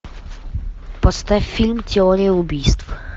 поставь фильм теория убийств